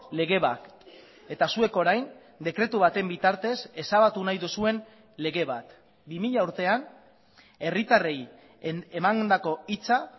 lege bat eta zuek orain dekretu baten bitartez ezabatu nahi duzuen lege bat bi mila urtean herritarrei emandako hitza